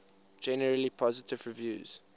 generally positive reviews